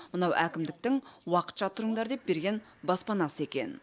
мынау әкімдіктің уақытша тұрыңдар деп берген баспанасы екен